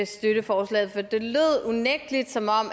støtte forslaget for det lød unægtelig som om